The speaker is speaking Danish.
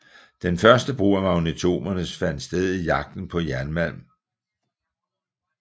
Den første brug af magnetometere fandt sted i jagten på jernmalm